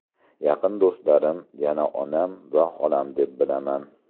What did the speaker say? Yaqin do‘stlarim yana onam va xolam deb bilaman.